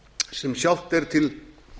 sem sjálft er til